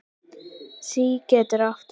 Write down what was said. SÍ getur átt við